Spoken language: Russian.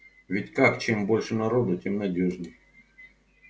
ведь как чем больше народу тем надёжней